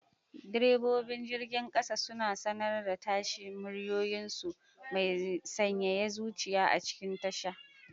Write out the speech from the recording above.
Direbobin jirgin kasa suna sanar da tashi, muryoyinsu mai sanyaya zuciya a cikin tasha.